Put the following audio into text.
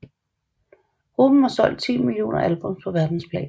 Gruppen har solgt 10 millioner albums på verdensplan